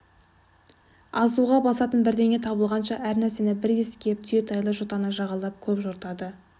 азуға басатын бірдеңе табылғанша әр нәрсені бір иіскеп түйетайлы жотаны жағалап көп жортады